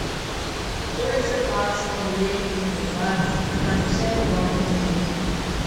Poleg zahval smo deležni tudi pohval, kar nam vsem ogromno pomeni.